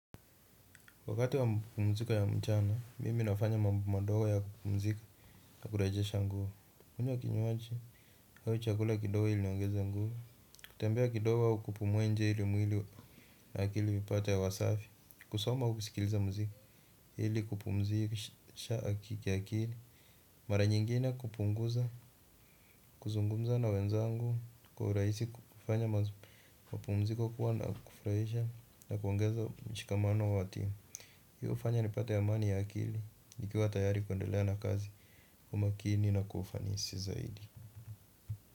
Wakati wa mapumziko ya mchana, mimi nafanya mambo madogo ya kupumzika na kurejesha nguvu. Kunywa kinywaji au chakula kidogo hili niongeze nguvu. Kutembea kidogo au kupumua nje hili mwili na akili ipate hea safi. Kusoma au kusikiliza muziki. Hili kupumzisha kiakili. Mara nyingine kupunguza, kuzungumza na wenzangu kwa urahisi kufanya mapumziko kuwa na kufurahisha na kuongeza mshikamano wa timu. Hiyo hufanya nipate amani ya akili. Nikiwa tayari kuendelea na kazi kwa makini na kwa ufanisi zaidi.